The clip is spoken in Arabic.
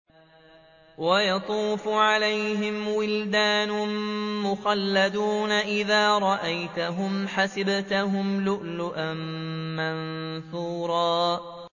۞ وَيَطُوفُ عَلَيْهِمْ وِلْدَانٌ مُّخَلَّدُونَ إِذَا رَأَيْتَهُمْ حَسِبْتَهُمْ لُؤْلُؤًا مَّنثُورًا